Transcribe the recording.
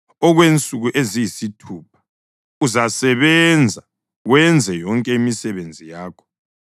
Okwensuku eziyisithupha uzasebenza wenze yonke imisebenzi yakho,